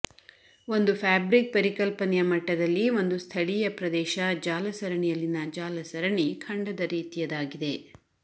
ಒಂದು ಫ್ಯಾಬ್ರಿಕ್ ಪರಿಕಲ್ಪನೆಯ ಮಟ್ಟದಲ್ಲಿ ಒಂದು ಸ್ಥಳೀಯ ಪ್ರದೇಶ ಜಾಲಸರಣಿಯಲ್ಲಿನ ಜಾಲಸರಣಿ ಖಂಡದ ರೀತಿಯದಾಗಿದೆ